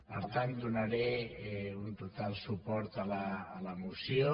per tant donaré un total suport a la moció